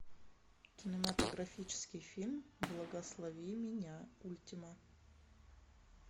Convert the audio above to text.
кинематографический фильм благослови меня ультима